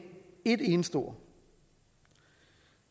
et eneste ord